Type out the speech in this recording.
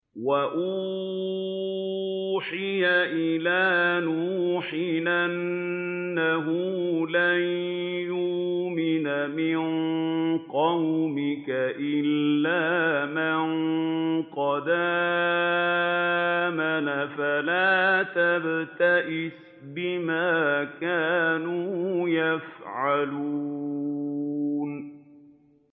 وَأُوحِيَ إِلَىٰ نُوحٍ أَنَّهُ لَن يُؤْمِنَ مِن قَوْمِكَ إِلَّا مَن قَدْ آمَنَ فَلَا تَبْتَئِسْ بِمَا كَانُوا يَفْعَلُونَ